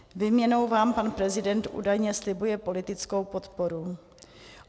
Výměnou vám pan prezident údajně slibuje politickou podporu.